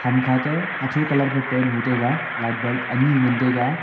hamkha ta hacho colour phai paint hoitaiga light bulb anyi ngantaiga.